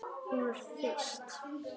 Hún er þyrst.